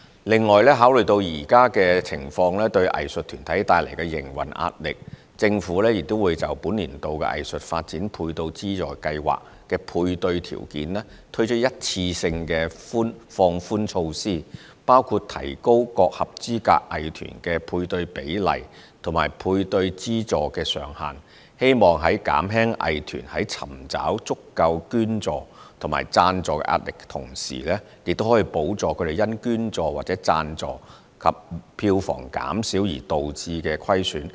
另外，考慮到現時情況對藝術團體帶來的營運壓力，政府也會就本年度藝術發展配對資助計劃的配對條件推出一次性放寬措施，包括提高各合資格藝團的配對比例及配對資助上限，希望在減輕藝團在尋找足夠捐助或贊助壓力的同時，也可補助他們因捐助或贊助及票房減少而導致的虧損。